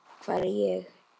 Hvar er ég?